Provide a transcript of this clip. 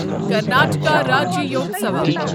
Karnataka Rajyotsava